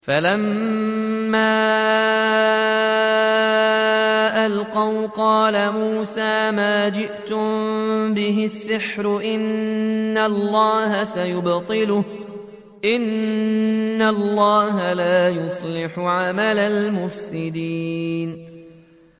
فَلَمَّا أَلْقَوْا قَالَ مُوسَىٰ مَا جِئْتُم بِهِ السِّحْرُ ۖ إِنَّ اللَّهَ سَيُبْطِلُهُ ۖ إِنَّ اللَّهَ لَا يُصْلِحُ عَمَلَ الْمُفْسِدِينَ